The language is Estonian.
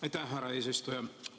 Aitäh, härra eesistuja!